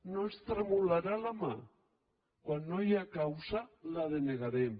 no ens tremolarà la mà quan no hi ha causa ho denegarem